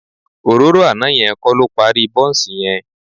Òróró àná yẹn kọ́ ló parí bọ́ǹsì yẹn